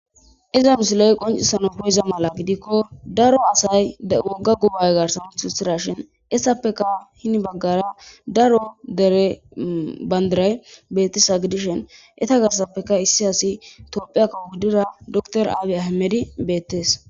Iza misilo'y qoncissano koyiza mala gidikko daro asay wogga gubay garsan husthira shin issappeka hinibaggara daro dere bandiray bettisa gidishen eta garsappeka issi asi topphi akkawo guddira doktor aabi ahimedi beettees.